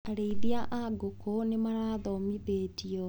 Arĩithia a ngũkũ nĩmarathomithio.